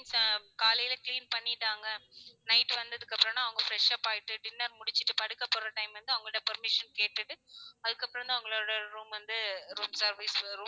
Some காலைல clean பண்ணிட்டாங்க night வந்ததுக்கு அப்புறோம்னா அவங்க freshup ஆயிட்டு dinner முடிச்சுட்டு படுக்க போற time வந்து அவங்கள்ட்ட permission கேட்டு அதுக்கப்புறம் வந்து அவங்களோட room வந்து room service